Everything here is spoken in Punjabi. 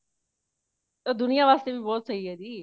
ਦੁਨੀਆ ਵਾਸਤੇ ਵੀ ਬਹੁਤ ਸਹੀ ਹੈ ਜੀ